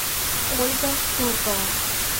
ольга туркова